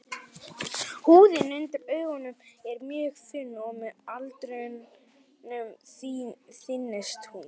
Húðin undir augunum er mjög þunn og með aldrinum þynnist hún.